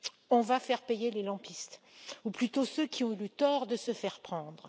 On va faire payer les lampistes ou plutôt ceux qui ont eu le tort de se faire prendre.